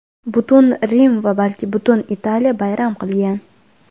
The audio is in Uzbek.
Butun Rim va balki butun Italiya bayram qilgan.